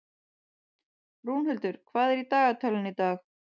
Rúnhildur, hvað er í dagatalinu í dag?